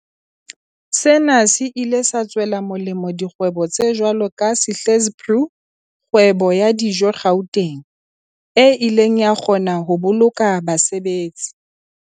Sena se ile sa tswela molemo dikgwebo tse jwalo ka Sihle's Brew, kgwebo ya dijo Gauteng, e ileng ya kgona ho boloka basebetsi